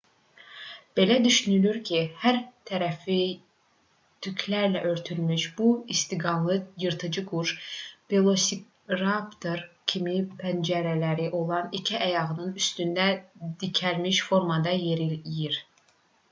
belə düşünülürdü ki hər tərəfi tüklərlə örtülmüş bu istiqanlı yırtıcı quş velosiraptor kimi pəncələri olan iki ayağının üstündə dikəlmiş formada yeriyir